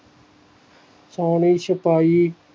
ਪਾਣੀ ਚ ਪਾਈ